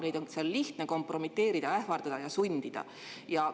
Neid on seal lihtne kompromiteerida, ähvardada ja sundida.